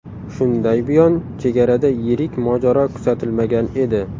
Shunday buyon chegarada yirik mojaro kuzatilmagan edi.